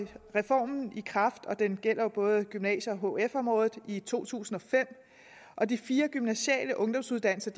reformen i kraft og den gælder både gymnasie og hf området i to tusind og fem og de fire gymnasiale ungdomsuddannelser